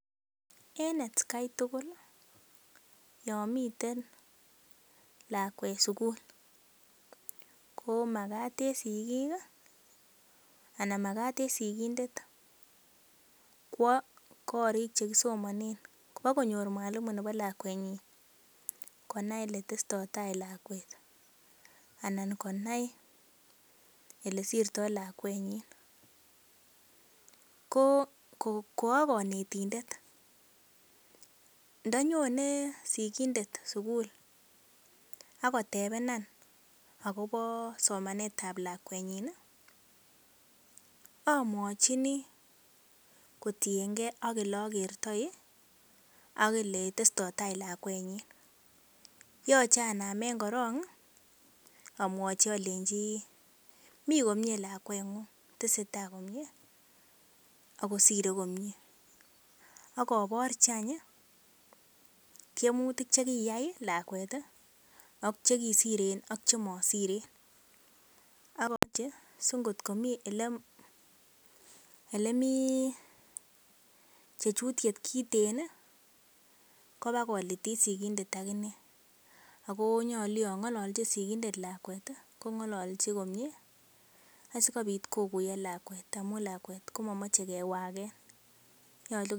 En atakai tugul yon miten lakwet sugul komagat en sigindet kwo korik che kisomanen kobakonyor mwalimu nebo lakwenyin kwo konai oletestoito taa lakwet anan konai ole sirtoi lakwenyin. Ko koakonetindet, ndo nyone sigindet sugul ak kotebenan agobo somanetab lakwenyin amwachini kotienge ak ole agertoi akole testo tai lakwenyi. Yoche anamen korong amwochi alenji mi komie lakweng'ung tesetai komye ago sire komyee. Ak aborji any tiemutik che kiyai lakwet ak che kisiren ak chemosiren singotkomi ele mi chechutiet kiten kobakolitit sigindet ak inee, ago nyolu yo ng'ololchin sigindet lakwet kong'ololji komie asikobit koguiyo lawket amun lakwet komomoche kewagen.